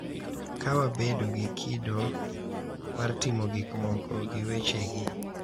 Ka wabedo gi kido mar timo gik moko gi wechegi,